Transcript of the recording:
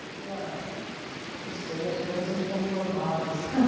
Eu falei, não sei, acho que é nos inconformados.